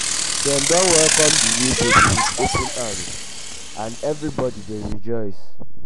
dem don welcome di new baby with open arms and everybody dey rejoice.